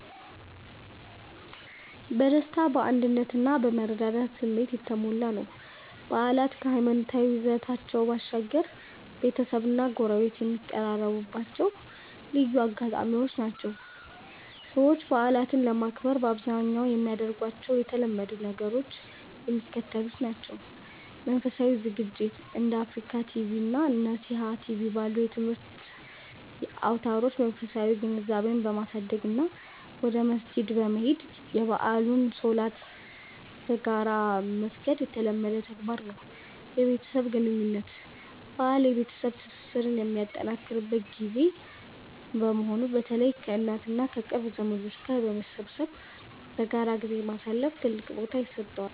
በደስታ፣ በአንድነት እና በመረዳዳት ስሜት የተሞላ ነው። በዓላት ከሃይማኖታዊ ይዘታቸው ባሻገር፣ ቤተሰብና ጎረቤት የሚቀራረቡባቸው ልዩ አጋጣሚዎች ናቸው። ሰዎች በዓላትን ለማክበር በአብዛኛው የሚያደርጓቸው የተለመዱ ነገሮች የሚከተሉት ናቸው፦ መንፈሳዊ ዝግጅት፦ እንደ አፍሪካ ቲቪ እና ነሲሃ ቲቪ ባሉ የትምህርት አውታሮች መንፈሳዊ ግንዛቤን በማሳደግ እና ወደ መስጂድ በመሄድ የበዓሉን ሶላት በጋራ መስገድ የተለመደ ተግባር ነው። የቤተሰብ ግንኙነት፦ በዓል የቤተሰብ ትስስር የሚጠናከርበት ጊዜ በመሆኑ፣ በተለይ ከእናት እና ከቅርብ ዘመዶች ጋር በመሰብሰብ በጋራ ጊዜ ማሳለፍ ትልቅ ቦታ ይሰጠዋል።